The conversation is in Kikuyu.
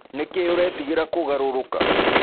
Nĩkĩ ũretĩgĩra kũgarũrũka?